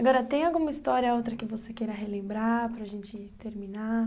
Agora, tem alguma história outra que você queira relembrar para a gente terminar?